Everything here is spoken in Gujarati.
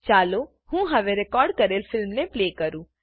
ચાલો હું હવે રેકોર્ડ કરેલ ફિલ્મને પ્લે કરું